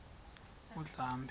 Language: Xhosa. undlambe